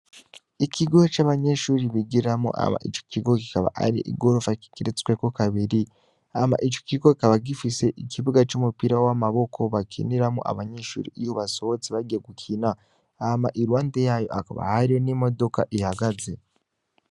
Ikigo c'abanyenshuri bigiramo ama ico kigo kikaba ari igorofa kikeretsweko kabiri ama ico kigo kaba gifise ikibuga c'umupira w'amaboko bakiniramo abanyeshuri iyo basohotse bagiye gukina ama i lwande yayo akaba hariho n'imodoka ihagaze.